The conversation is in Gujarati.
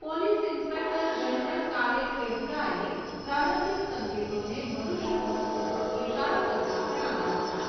પોલીસ ઇન્સ્પેક્ટર જનરલ કાલે કૈહુરાએ પ્રારંભિક સંકેતોને મનુષ્યવધ તરફ ઇશારો કરતા ગણાવ્યા હતા.